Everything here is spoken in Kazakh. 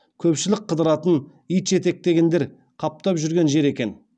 көпшілік қыдыратын ит жетектегендер қаптап жүрген жер екен